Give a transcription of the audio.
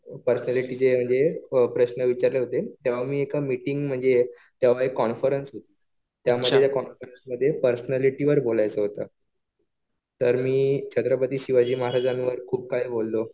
पर्सनॅलिटीचे म्हणजे प्रश्न विचारले होते. तेव्हा मी एका मीटिंग म्हणजे तेव्हा एक कॉन्फरन्स त्यामध्ये त्या कॉन्फरन्स मध्ये पर्सनॅलिटी वर बोलायचं होतं. तर मी छत्रपती शिवाजी महाराजांवर खुप काही बोललो.